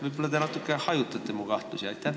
Võib-olla te natukene hajutate mu kahtlusi?